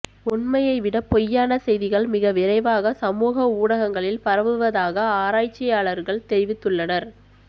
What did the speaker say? உண்மையைவிட பொய்யான செய்திகள் மிக விரைவாக சமூக ஊடகங்களில் பரவுவதாக ஆராய்ச்சியாளர்கள் தெரிவித்துள்ளனர்